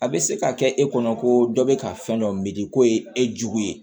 A bɛ se ka kɛ e kɔnɔ ko dɔ bɛ ka fɛn dɔ mindi ko ye e jugu ye